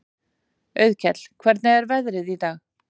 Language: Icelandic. Auðkell, hvernig er veðrið í dag?